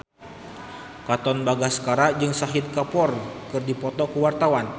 Katon Bagaskara jeung Shahid Kapoor keur dipoto ku wartawan